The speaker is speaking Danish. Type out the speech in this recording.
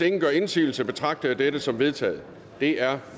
ingen gør indsigelse betragter jeg dette som vedtaget det er